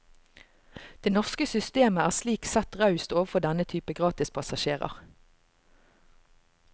Det norske systemet er slik sett raust overfor denne type gratispassasjerer.